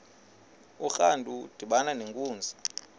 urantu udibana nenkunzi